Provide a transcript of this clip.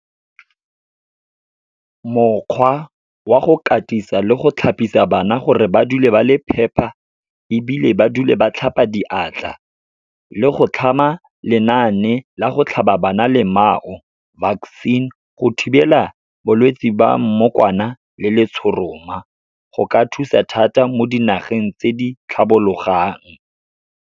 Mokgwa wa go katisa le go thapisa bana gore ba dule ba le phepa, ebile ba dule ba tlhapa diatla. Le go tlhama lenaane la go tlhaba bana lemao, vaccine, go thibela bolwetsi ba mmokwana le letshoroma, go ka thusa thata mo dinageng tse di tlhabologang.